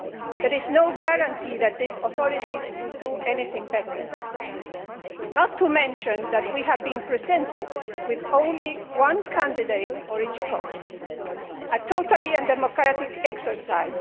There is no guarantee that these authorities will do anything better. Moreover, we have been presented with only one candidate for each post a totally undemocratic exercise.